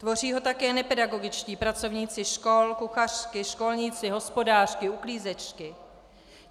Tvoří ho také nepedagogičtí pracovníci škol, kuchařky, školníci, hospodářky, uklízečky.